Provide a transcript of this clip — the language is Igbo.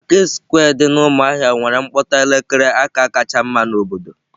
Maketị sekwe dị na umuahia nwere mkpokọta elekere aka kacha mma n'obodo